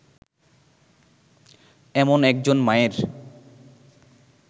এমন একজন মায়ের